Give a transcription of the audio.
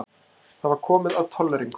Það var komið að tolleringunum.